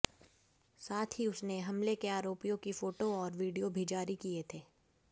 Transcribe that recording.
साथ ही उसने हमले के आरोपियों की फोटो और वीडियो भी जारी किए थे